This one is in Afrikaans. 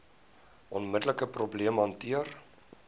onmiddelike probleem hanteer